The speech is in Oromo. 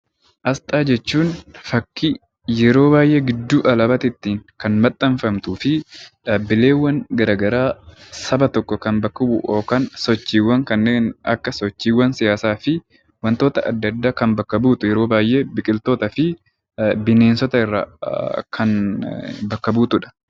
Asxaa jechuun fakkii yeroo baay'ee gidduu alaabaatti maxxanfamtuu fi dhaabbileen garaagaraa Saba tokko kan bakka bu'u sochiiwwan kanneen akka siyaasaa fi wantoota adda addaa kan bakka buutu yeroo baay'ee biqilootaa fi bineensota irraa kan bakka buutudha